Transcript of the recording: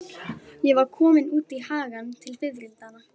Ég var komin út í hagann til fiðrildanna.